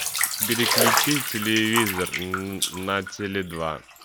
переключи телевизор на теле два